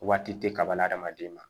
Waati tɛ kaba la hadamaden ma